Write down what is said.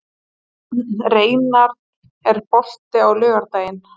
Reynarð, er bolti á laugardaginn?